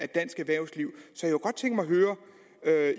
dansk erhvervsliv så